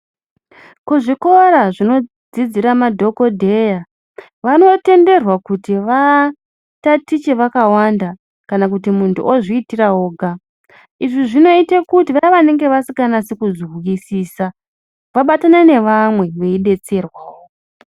Kuzvikora zvinodzidzira madhokodheya vanotenderwa kuti vatatiche vakawanda kana kuti muntu ozviitira oga, izvi zvinoite kuti vaya vanenge vasikanasi kuzwisisa vabatane nevamwe veidetserwawo.